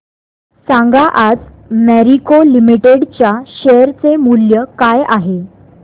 सांगा आज मॅरिको लिमिटेड च्या शेअर चे मूल्य काय आहे